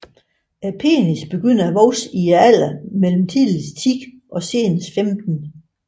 Penisen begynder at vokse i alderen mellem tidligst 10 og senest 15